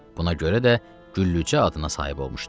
Buna görə də Güllücə adına sahib olmuşdu.